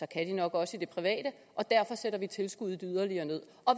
kan de nok også i det private og derfor sætter vi tilskuddet yderligere ned